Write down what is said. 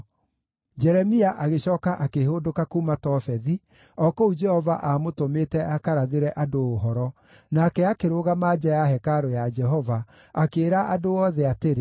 Jeremia agĩcooka akĩhũndũka kuuma Tofethi, o kũu Jehova aamũtũmĩte akarathĩre andũ ũhoro, nake akĩrũgama nja ya hekarũ ya Jehova, akĩĩra andũ othe atĩrĩ,